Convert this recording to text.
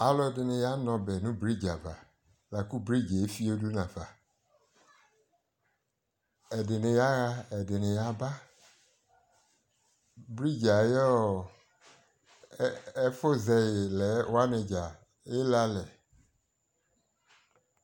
alʋɛdini yalʋ ɔbɛ nʋ bridge aɣa lakʋ bridgeɛ ɛƒiɔ dʋnʋ aƒa, ɛdini yaha ɛdini yaba, bridgeɛ ayɔ ɛƒʋ zɛyi lɛ wani dza ɛlè alɛ